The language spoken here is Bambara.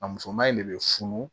A musoman in ne bɛ funu